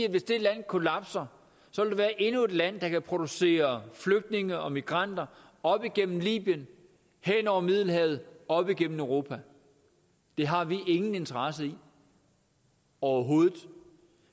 at hvis det land kollapser så vil der være endnu et land der kan producere flygtninge og migranter op igennem libyen hen over middelhavet og op igennem europa det har vi ingen interesse i overhovedet